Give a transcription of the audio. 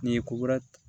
N'i ye ko wɛrɛ